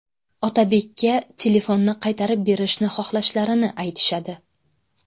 Otabekka telefonni qaytarib berishni xohlashlarini aytishadi.